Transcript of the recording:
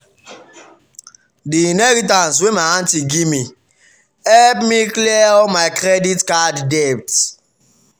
the inheritance wey my aunty give me help me clear all my credit card debt